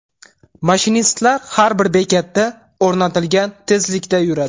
Mashinistlar har bir bekatda o‘rnatilgan tezlikda yuradi.